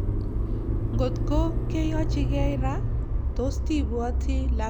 Ngotko keyochikei ra, tos tibwoti lakwengung Karon?